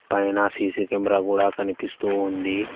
పైనా CC camera కూడా కనిపిస్తూ ఉంది.